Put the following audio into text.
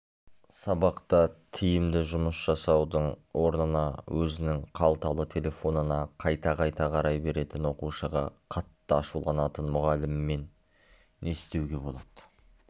сабақта тиімді жұмыс жасаудың орнына өзінің қалталы телефонына қайта-қайта қарай беретін оқушыға қатты ашуланатын мұғаліммен не істеуге болады